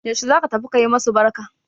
Yaushe za ka tafi ka yi masu barka?